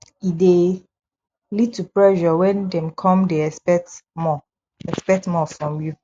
e de lead to pressure when dem come de except more except more from you